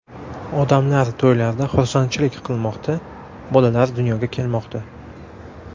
Odamlar to‘ylarda xursandchilik qilmoqda, bolalar dunyoga kelmoqda.